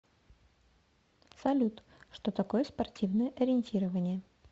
салют что такое спортивное ориентирование